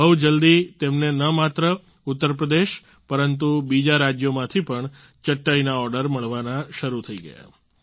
બહુ જલ્દી તેમને ન માત્ર ઉત્તરપ્રદેશ પરંતુ બીજા રાજ્યોમાંથી પણ ચટાઈના ઓર્ડર મળવાના શરૂ થઈ ગયા